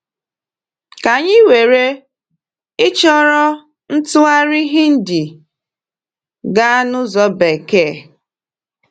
Ka anyị were, i chọrọ ịtụgharị Hindi gaa n’ụzọ Bekee.